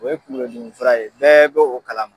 O ye kuŋolo dimi fura ye, bɛɛ bɛ o kalama.